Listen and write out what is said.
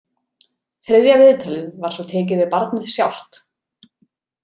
Þriðja viðtalið var svo tekið við barnið sjálft.